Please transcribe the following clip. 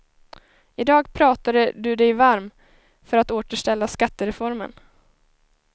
I dag pratade du dig varm för att återställa skattereformen.